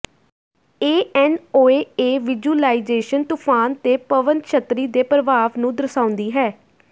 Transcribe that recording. ਇਹ NOAA visualisation ਤੂਫਾਨ ਤੇ ਪਵਨ ਛੱਤਰੀ ਦੇ ਪ੍ਰਭਾਵ ਨੂੰ ਦਰਸਾਉਂਦੀ ਹੈ